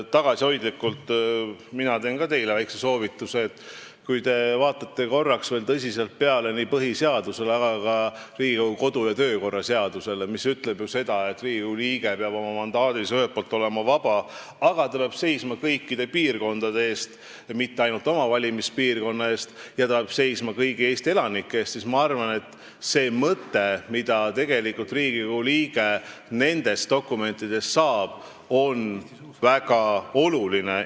Mina annan ka teile väikse tagasihoidliku soovituse: kui te vaatate korraks veel tõsiselt peale nii põhiseadusele kui ka Riigikogu kodu- ja töökorra seadusele, mis ütleb ju seda, et Riigikogu liige peab oma mandaadis ühelt poolt olema vaba, aga ta peab seisma kõikide piirkondade eest, mitte ainult oma valimispiirkonna eest, ja ta peab seisma kõigi Eesti elanike eest, siis see mõte, mida Riigikogu liige nendest dokumentidest saab, on minu arvates väga oluline.